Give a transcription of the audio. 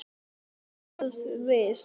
Lenu við.